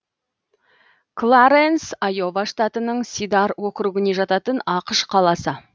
кларэнс айова штатының сидар округіне жататын ақш қаласы